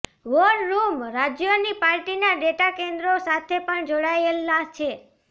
war room રાજ્યોની પાર્ટીના data કેન્દ્રો સાથે પણ જોડાયેલા છે